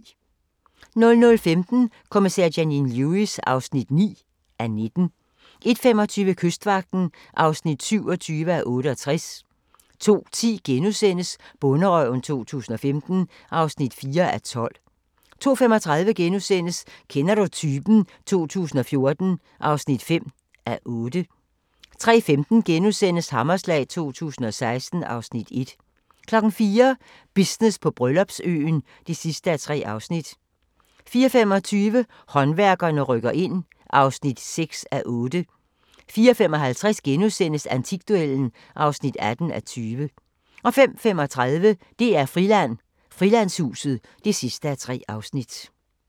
00:15: Kommissær Janine Lewis (9:19) 01:25: Kystvagten (27:68) 02:10: Bonderøven 2015 (4:12)* 02:35: Kender du typen? 2014 (5:8)* 03:15: Hammerslag 2016 (Afs. 1)* 04:00: Business på Bryllupsøen (3:3) 04:25: Håndværkerne rykker ind (6:8) 04:55: Antikduellen (18:20)* 05:35: DR-Friland: Frilandshuset (3:3)